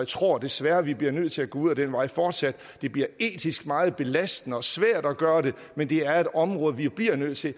tror desværre vi bliver nødt til at gå ud ad den vej fortsat det bliver etisk meget belastende og svært at gøre det men det er et område vi bliver nødt til at